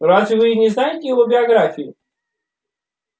разве вы не знаете его биографии